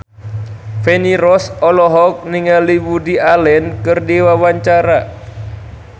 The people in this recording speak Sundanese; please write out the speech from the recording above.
Feni Rose olohok ningali Woody Allen keur diwawancara